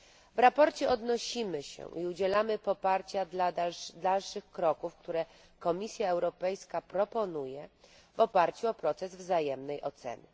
W sprawozdaniu odnosimy się i udzielamy poparcia dla dalszych kroków, które Komisja Europejska proponuje w oparciu o proces wzajemnej oceny.